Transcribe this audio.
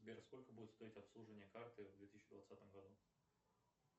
сбер сколько будет стоить обслуживание карты в две тысячи двадцатом году